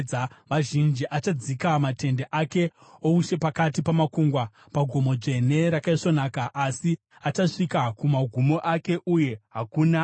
Achadzika matende ake oushe pakati pamakungwa pagomo dzvene rakaisvonaka. Asi achasvika kumagumo ake, uye hakuna achamubatsira.